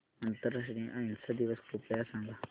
आंतरराष्ट्रीय अहिंसा दिवस कृपया सांगा